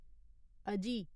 अजी